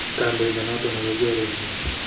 Konoindet noton nekakiorenjin.